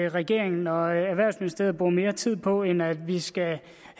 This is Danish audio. at regeringen og erhvervsministeriet bruger mere tid på end at vi skal